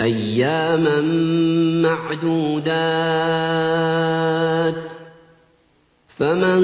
أَيَّامًا مَّعْدُودَاتٍ ۚ فَمَن